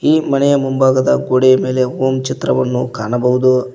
ಈ ಮನೆಯ ಮುಂಭಾಗದ ಗೋಡೆಯ ಮೇಲೆ ಓಂ ಚಿತ್ರವನ್ನು ಕಾಣಬಹುದು.